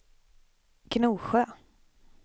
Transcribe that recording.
Gnosjö